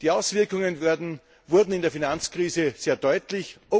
Die Auswirkungen wurden in der Finanzkrise sehr deutlich.